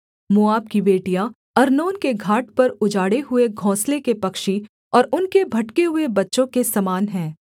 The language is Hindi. मोआब की बेटियाँ अर्नोन के घाट पर उजाड़े हुए घोंसले के पक्षी और उनके भटके हुए बच्चों के समान हैं